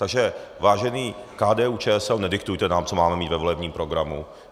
Takže vážená KDU-ČSL, nediktujte nám, co máme mít ve volebním programu.